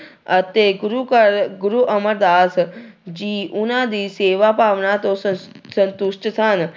ਅਤੇ ਗੁਰੂ ਘਰ ਗੁਰੂ ਅਮਰਦਾਸ ਜੀ ਉਹਨਾਂ ਦੀ ਸੇਵਾ ਭਾਵਨਾ ਤੋਂ ਸ ਸੰਤੁਸ਼ਟ ਸਨ।